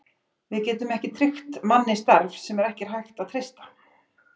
Við getum ekki tryggt manni starf, sem ekki er hægt að treysta.